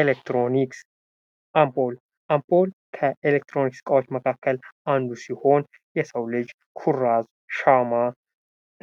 ኤሌክትሮኒክስ አምፖል አምፖል ከኤሌክትሮኒክስ እቃዎች መካከል አንዱ ሲሆን የሰው ልጅ ኩራዝ ሻማ